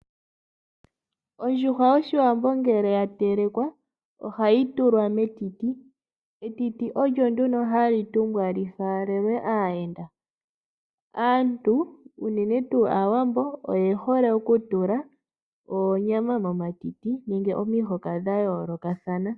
Ondjuhwa yOshiwambo ngele ya telekwa ohayi tulwa metiti. Etiti olyo nduno halyi tumbwa lyi falelwe aayenda. Aantu unene tuu Aawambo, oye hole oku tula oonyama momatiti nenge omihoka dha yoolokathana.